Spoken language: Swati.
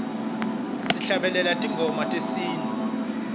sihlabelela tingoma tesintfu